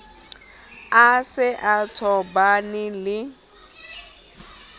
a se a tobane le